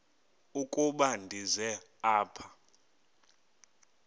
ukuba ndize apha